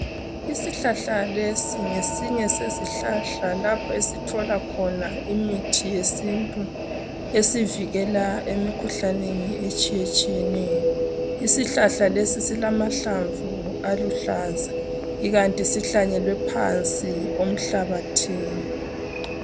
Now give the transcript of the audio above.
Isihlahla lesi ngesinye sezihlahla lapho esithola khona imithi yesintu esivikela emikhuhlaneni etshiyetshiyeneyo isihlahla lesi silamahlamvu aluhlaza ikanti sihlanyelwe phansi komhlabathi